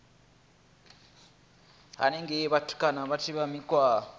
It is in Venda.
henengei vhutukani vha funzwa mikhwa